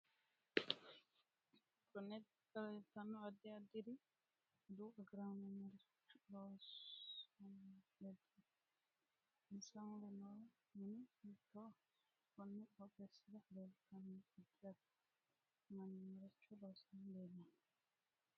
Konne darga leeltanno addi addiri aduwu agaraano maricho loosanni leeltanno insa mule noo mini hitooho konni qooxesira leeltanno addi add manni maricho loosani leelanno